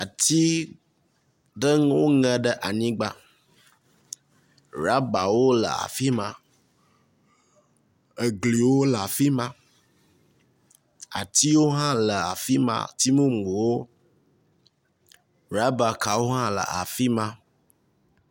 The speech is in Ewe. Ati ɖewo ŋe ɖe anyigba, rabawo le afi ma, egliwo le afi ma, atiwo hã le afi ma, ati mumuwo, raba kawo hã le afi.